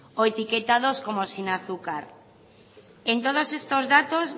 o etiquetados como sin azúcar en todos estos datos